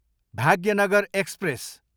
Bhagyanagar express